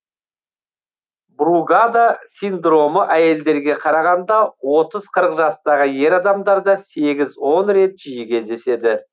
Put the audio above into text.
бругада синдромы әйелдерге қарағанда отыз қырық жастағы ер адамдарда сегіз он рет жиі кездеседі